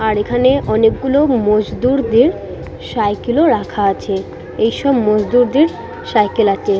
আর এখানে অনেকগুলো মজদুরদের সাইকেল -ও রাখা আছে। এইসব মজদুরদের সাইকেল আছে।